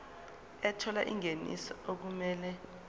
ethola ingeniso okumele